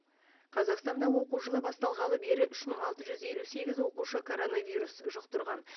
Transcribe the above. қазақстанда оқу жылы басталғалы бері үш мың алты жүз елу сегіз оқушы коронавирус жұқтырған